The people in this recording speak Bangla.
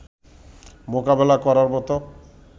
মোকাবেলা করার মতো